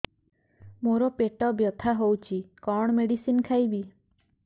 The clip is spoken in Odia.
ମୋର ପେଟ ବ୍ୟଥା ହଉଚି କଣ ମେଡିସିନ ଖାଇବି